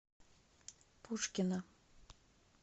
пушкино